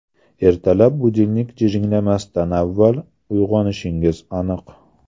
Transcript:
Ertalab budilnik jiringlamasdan avval uyg‘onishingiz aniq.